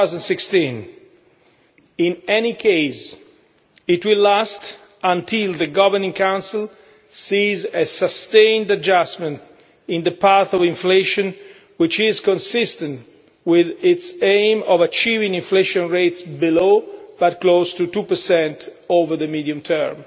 2016. In any case, it will last until the Governing Council sees a sustained adjustment in the path of inflation which is consistent with its aim of achieving inflation rates below, but close to, 2 over the medium term.